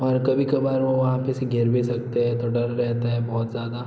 और कभी कबार वो वहाँ पे से गिर भी सकते हैं तो डर रहता है बहुत ज्यादा।